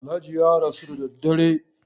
Alhaji ya rasu da dare.